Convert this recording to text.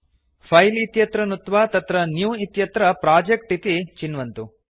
file इत्यत्र नुत्त्वा तत्र न्यू इत्यत्र प्रोजेक्ट् इति चिन्वन्तु